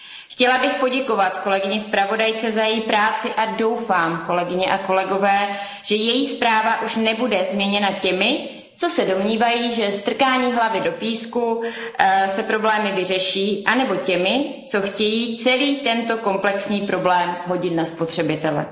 Chtěla bych poděkovat kolegyni zpravodajce za její práci a doufám, kolegyně a kolegové, že její zpráva už nebude změněna těmi, co se domnívají, že strkáním hlavy do písku se problémy vyřeší, anebo těmi, co chtějí celý tento komplexní problém hodit na spotřebitele.